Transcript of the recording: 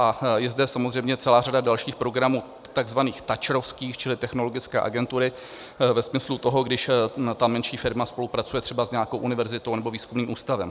A je zde samozřejmě celá řada dalších programů tzv. tačrovských, čili technologické agentury, ve smyslu toho, když ta menší firma spolupracuje třeba s nějakou univerzitou nebo výzkumným ústavem.